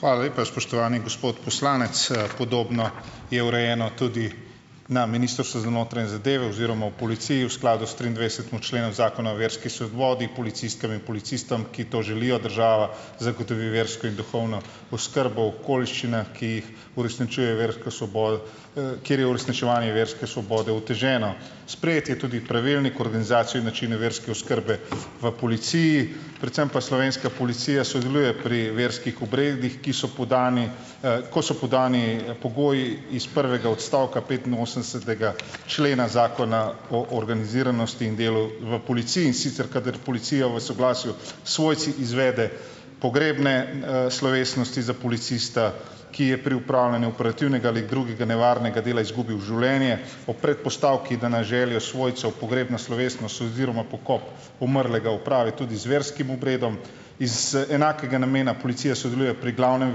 Hvala lepa, spoštovani gospod poslanec. Podobno je urejeno tudi na Ministrstvu za notranje zadeve oziroma v policiji v skladu s triindvajsetim členu zakona o verski svobodi, policistkam in policistom, ki to želijo, država zagotovi versko in duhovno oskrbo v okoliščinah, ki jih uresničujejo versko svobodo, kjer je uresničevanje verske svobode oteženo. Sprejet je tudi pravilnik o organizaciji in načinu verske oskrbe v policiji, predvsem pa slovenska policija sodeluje pri verskih obredih, ki so podnevi, ko so podnevi pogoji iz prvega odstavka petinosemdesetega člena Zakona o organiziranosti in delu v policiji, in sicer kadar policija v soglasju s svojci izvede pogrebne, slovesnosti za policista, ki je pri opravljanju operativnega ali drugega nevarnega dela izgubil življenje, ob predpostavki, da na željo svojcev pogrebna slovesnost oziroma pokop umrlega opravi tudi z verskim obredom. Iz, enakega namena policija sodeluje pri glavnem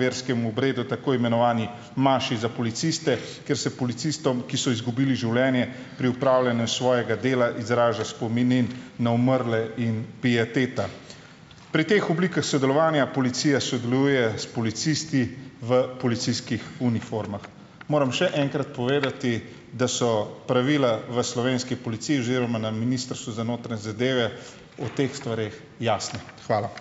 verskem obredu tako imenovani maši za policiste, kjer se policistom, ki so izgubili življenje pri opravljanju svojega dela, izraža spomin na umrle in pieteta. Pri teh oblikah sodelovanja policija sodeluje s policisti v policijskih uniformah. Moram še enkrat povedati, da so pravila v slovenski policiji oziroma na Ministrstvu za notranje zadeve o teh stvareh jasne. Hvala.